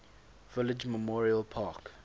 village memorial park